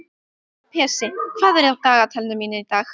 Pési, hvað er á dagatalinu í dag?